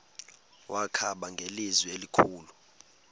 wakhala ngelizwi elikhulu